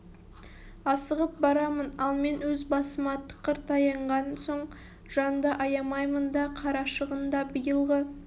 асығып барамын ал мен өз басыма тықыр таянған соң жанды аямаймын да қарашығын да биылғы